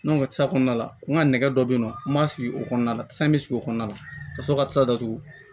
kɔnɔna la n ka nɛgɛ dɔ be yen nɔ n m'a sigi o kɔnɔna la san bɛ sigi o kɔnɔna na ka sɔrɔ ka sa datugu